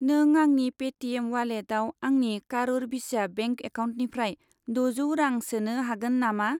नों आंनि Paytm उवालेटाव आंनि कारुर भिस्या बेंक एकाउन्टनिफ्राय द'जौ रां सोनो हागोन नामा?